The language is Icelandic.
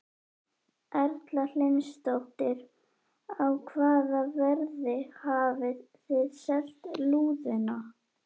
Erla Hlynsdóttir: Á hvaða verði hafið þið selt lúðuna?